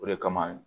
O de kama